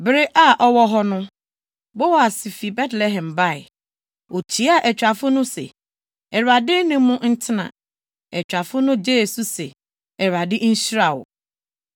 Bere a ɔwɔ hɔ no, Boas fi Betlehem bae. Okyiaa atwafo no se, “ Awurade ne mo ntena!” Atwafo no gyee so se, “ Awurade nhyira wo.”